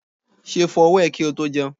Ṣé o fọ ọwọ́ ẹ kí o tó jẹun?